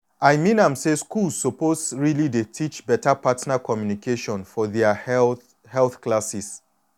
i mean am say schools suppose really dey teach beta partner communication for their health health classes.